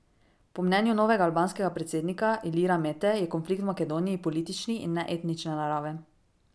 Po mnenju novega albanskega predsednika Ilira Mete je konflikt v Makedoniji politični in ne etnične narave.